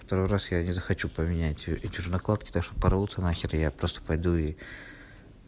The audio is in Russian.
второй раз я не захочу поменять эти же накладки так что порвутся нахер я просто пойду и